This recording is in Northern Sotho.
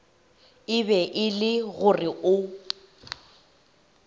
be e le gore o